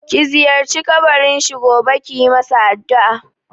Ki ziyarci kabarin shi gobe kiyi masa addu'a!